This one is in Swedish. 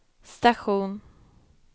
station